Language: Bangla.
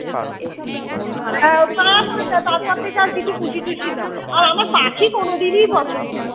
তারপর থেকে আর কিছু পুষি টুসি না আর আমার পাখি কোনদিনই পছন্দ না